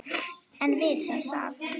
En við það sat.